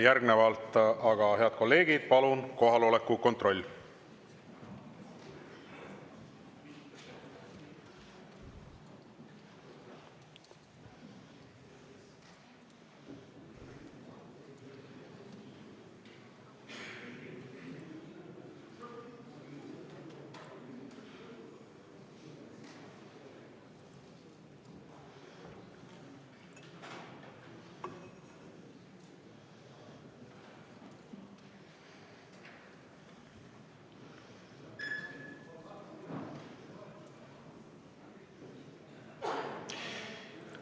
Järgnevalt aga, head kolleegid, palun kohaloleku kontroll!